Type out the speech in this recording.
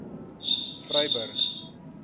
vryburg